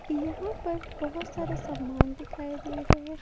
यहां पर बहुत सारे सामान दिखाई दे रहे है।